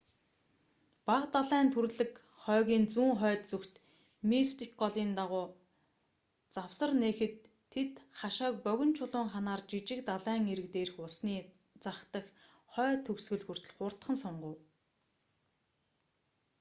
бага далайн түрлэг хойгийн зүүн хойд зүгт мистик голын дагуу завсар нээхэд тэд хашааг богино чулуун ханаар жижиг далайн эрэг дээрх усны зах дах хойд төгсгөл хүртэл хурдхан сунгав